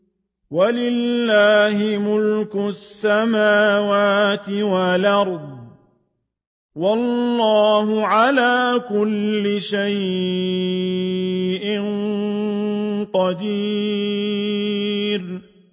وَلِلَّهِ مُلْكُ السَّمَاوَاتِ وَالْأَرْضِ ۗ وَاللَّهُ عَلَىٰ كُلِّ شَيْءٍ قَدِيرٌ